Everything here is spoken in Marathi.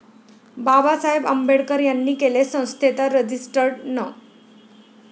बाबासाहेब आंबेडकर यांनी केले, संस्थेचा रजिस्टर्ड नं.